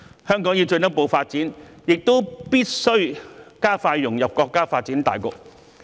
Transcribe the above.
香港要進一步發展，亦必須加快融入國家發展大局。